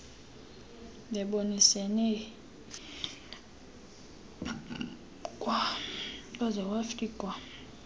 bebonisene kwaze kwafikwa